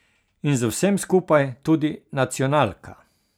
In z vsem skupaj tudi nacionalka.